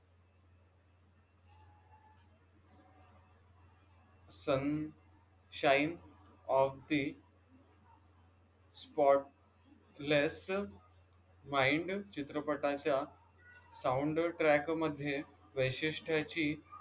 sun shine of the spotless mind चित्रपटाच्या soundtrack मध्ये वैशिष्ठ्याची